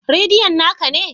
Radion na ka ne?